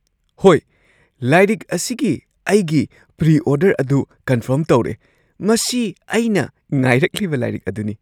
ꯍꯣꯏ! ꯂꯥꯏꯔꯤꯛ ꯑꯁꯤꯒꯤ ꯑꯩꯒꯤ ꯄ꯭ꯔꯤ-ꯑꯣꯔꯗꯔ ꯑꯗꯨ ꯀꯟꯐꯔꯝ ꯇꯧꯔꯦ ꯫ ꯃꯁꯤ ꯑꯩꯅ ꯉꯥꯏꯔꯛꯂꯤꯕ ꯂꯥꯏꯔꯤꯛ ꯑꯗꯨꯅꯤ ꯫